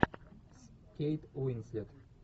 с кейт уинслет